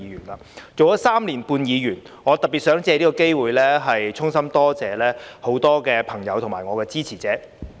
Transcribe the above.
當了3年半議員，我特別想借此機會，衷心多謝很多朋友和我的支持者。